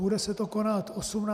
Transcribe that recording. Bude se to konat 18. února.